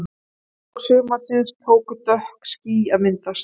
Í lok sumarsins tóku dökk ský að myndast.